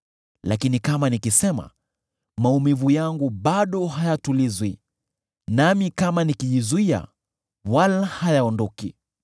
“Lakini kama nikisema, maumivu yangu bado hayatulizwi; nami kama nikijizuia, wala hayaondoki.